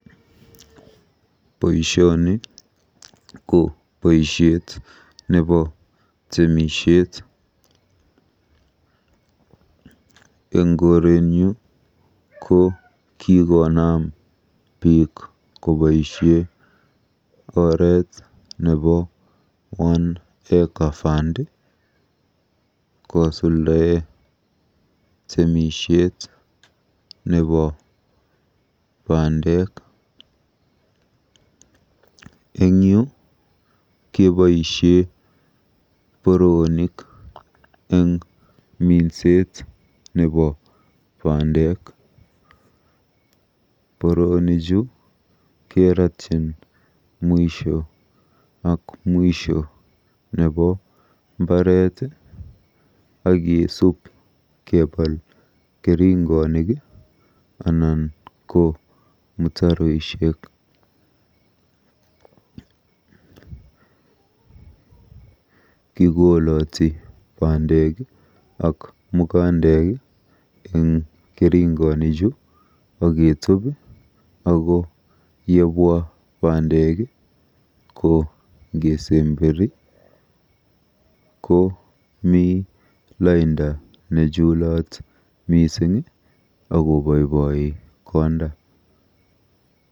Boisioni ko boisiet nebo temisiet. Eng korenyu ko kikonam biik koboisie oreet nebo One Acre Fund kosuldae temisiet nebo bandek. En yu keboisie boroonik eng minset nebo bendek. Boroonichu kerotchin mwisho ak mwisho nebo mbaret akeesub kebal keringonik anan ko mutaroishek. Kikoloti bandek ak mukandek eng keringonichu akeetub ako yebwa bandek ko ngesemberi komi lainda nechulat mising akoboiboi konda.